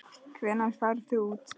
Hvenær farið þið út?